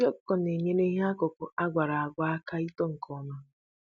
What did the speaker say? Nsị ọkụkọ na-enyere ihe akụkụ agwara agwa aka ito nke ọma